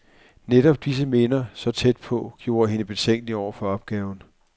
Netop disse minder, så tæt på, gjorde hende betænkelig over for opgaven.